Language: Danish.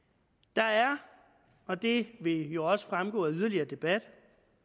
der er og det vil jo også fremgå af yderligere debat